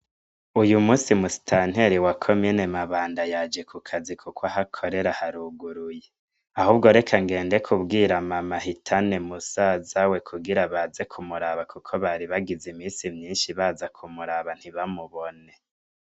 Uyu musi musitanteli wa ko mene mabanda yaje ku kazi, kuko ahakorera haruguruye ahubwo reka ngende kubwira mamahitane musazawe kugira baze kumuraba, kuko bari bagize imisi myinshi baza kumuraba ntibamubone.